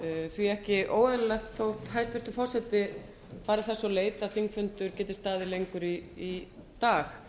því ekki óeðlilegt þó hæstvirtur forseti fari þess á leit að þingfundur geti staðið lengur í dag